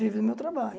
Vivo do meu trabalho.